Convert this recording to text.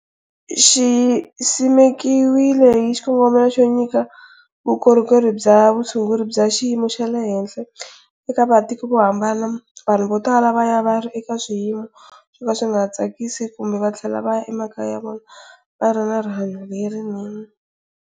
Xi simekiwile hi xikongomelo xo nyika vukorhokeri bya vutshunguri bya xiyimo xa le henhla eka matiko yo hambana, vanhu votala vaya vari eka swiyimo swoka swinga tsakisi kumbe vatlhela va ya emakaya ya vona vari na rihanyu lerinene.